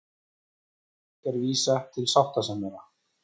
Flugvirkjar vísa til sáttasemjara